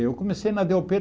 Eu comecei na dê ó pê